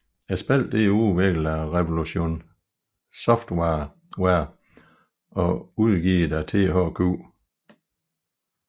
Spillet er udviklet af Revolution Software og udgivet af THQ